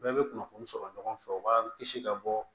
Bɛɛ bɛ kunnafoni sɔrɔ ɲɔgɔn fɛ u b'an kisi ka bɔ